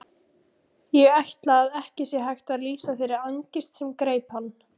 Ég ætla að ekki sé hægt að lýsa þeirri angist sem greip hann.